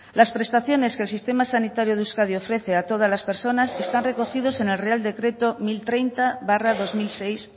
las prestaciones que el sistema sanitario de euskadi ofrece a todas las personas están recogidos en el real decreto mil treinta barra dos mil seis